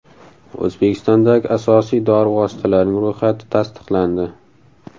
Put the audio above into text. O‘zbekistondagi asosiy dori vositalarining ro‘yxati tasdiqlandi.